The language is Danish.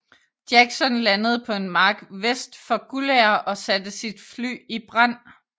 Jackson landede på en mark vest for Guldager og satte sit fly i brand